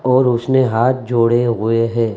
और उसने हाथ जोड़े हुए है।